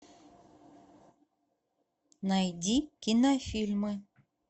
найди кинофильмы